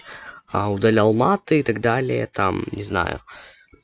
а удалял маты и так далее там не знаю